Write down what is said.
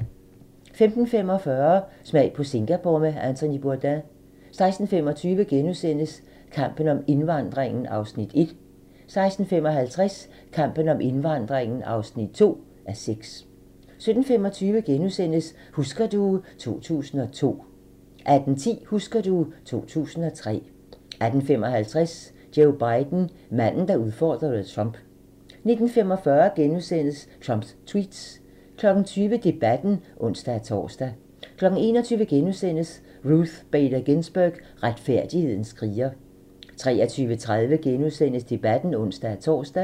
15:45: Smag på Singapore med Anthony Bourdain 16:25: Kampen om indvandringen (1:6)* 16:55: Kampen om indvandringen (2:6) 17:25: Husker du ... 2002 * 18:10: Husker du ... 2003 18:55: Joe Biden - manden, der udfordrede Trump 19:45: Trumps tweets * 20:00: Debatten (ons-tor) 21:00: Ruth Bader Ginsburg - retfærdighedens kriger * 23:30: Debatten *(ons-tor)